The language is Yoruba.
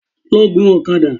Lọ gun ọ̀kadà!